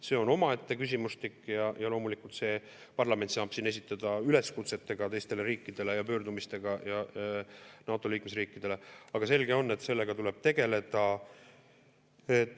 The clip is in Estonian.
See on omaette küsimustik ja loomulikult parlament saab siin esineda üleskutsetega teistele riikidele ja pöördumistega NATO liikmesriikide poole, aga selge on, et sellega tuleb tegeleda.